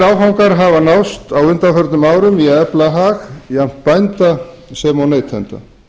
mikilvægir áfangar hafa náðst á undanförnum árum í að efla hag jafnt bænda sem og neytenda